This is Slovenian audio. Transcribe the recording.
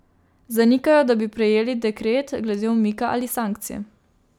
Zanikajo, da bi prejeli dekret glede umika ali sankcij.